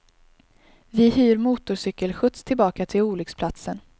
Vi hyr motorcykelskjuts tillbaka till olycksplatsen.